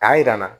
K'a yira n na